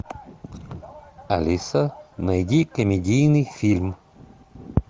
алиса найди комедийный фильм